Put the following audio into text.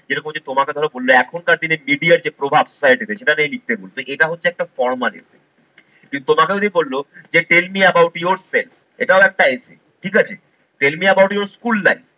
যেরকম হচ্ছে তোমাকে ধরো বললে এখনকার দিনে media যে প্রভাব side effect সেটা নিয়ে লিখতে হবে তো এটা হচ্ছে একটা formally কিন্তু তোমাকে দিয়ে বলল যে tell me about your friend এটাও একটা essay ঠিক আছে? tell me about your school life